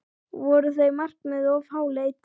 Voru þau markmið of háleit?